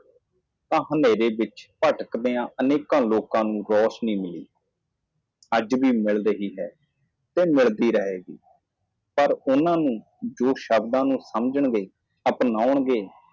ਇਸ ਲਈ ਹਨੇਰੇ ਵਿੱਚ ਭਟਕ ਰਹੇ ਲੋਕਾਂ ਨੂੰ ਇੱਕ ਰੋਸ਼ਨੀ ਮਿਲੀ ਅੱਜ ਵੀ ਮਿਲ ਰਿਹਾ ਹੈ ਅਤੇ ਮਿਲਣਾ ਜਾਰੀ ਰਹੇਗਾ ਪਰ ਉਹ ਜੋ ਸ਼ਬਦਾਂ ਨੂੰ ਸਮਝਦੇ ਹਨ ਅਪਣਾਏਗਾ